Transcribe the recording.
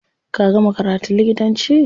Ka gama karatun likitanci?